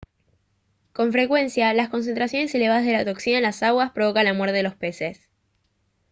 con frecuencia las concentraciones elevadas de la toxina en las aguas provocan la muerte de los peces